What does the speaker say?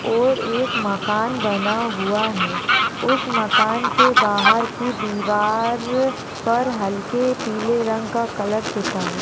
और एक मकान बना हुआ है उस मकान के बहार की दिवार पर हलके पीले रंग का कलर पुता है।